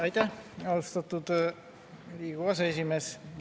Aitäh, austatud Riigikogu aseesimees!